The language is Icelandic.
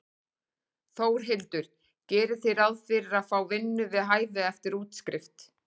Þórhildur: Gerið þið ráð fyrir að fá vinnu við hæfi eftir útskrift?